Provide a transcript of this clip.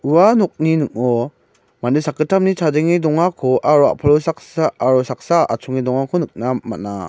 ua nokni ning·o mande sakgittamni chadenge dongako aro a·palo saksa aro saksa atchonge dongako nikna man·a.